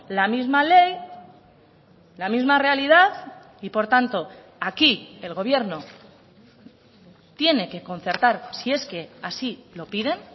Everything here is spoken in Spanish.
la misma ley la misma realidad y por tanto aquí el gobierno tiene que concertar si es que así lo piden